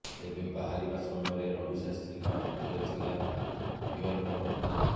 ତେବେ ବାହରିବା ସମୟରେ ରବି ଶାସ୍ତ୍ରୀଙ୍କ ହାତରେ ଥିଲା ବିୟର ବଟଲ୍